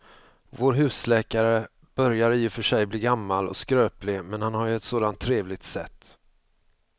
Vår husläkare börjar i och för sig bli gammal och skröplig, men han har ju ett sådant trevligt sätt!